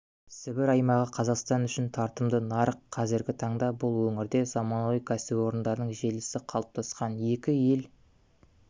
сібір аймағы қазақстан үшін тартымды нарық қазіргі таңда бұл өңірде заманауи кәсіпорындардың желісі қалыптасқан екі ел